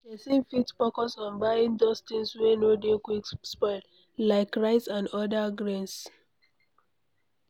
Person fit focus on buying those things wey no dey quick spoil, like rice and oda grains